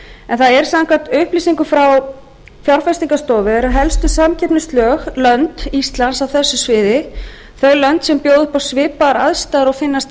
en það er samkvæmt upplýsingum frá fjárfestingarstofu eru helstu samkeppnislönd íslands á þessu sviði þau lönd sem bjóða upp á svipaðar aðstæður og finnast á hér